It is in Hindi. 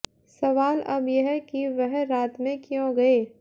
सवाल अब यह कि वह रात में क्यों गए